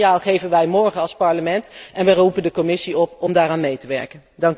Dat signaal geven wij morgen als Parlement en wij roepen de Commissie op om daaraan mee te werken.